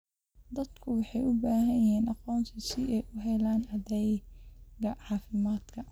Dadku waxay u baahan yihiin aqoonsi si ay u helaan adeegyada caafimaadka.